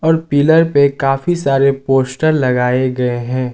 और पीलर पे काफी सारे पोस्टर लगाए गए है।